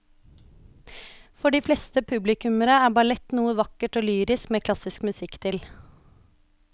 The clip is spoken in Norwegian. For de fleste publikummere er ballett noe vakkert og lyrisk med klassisk musikk til.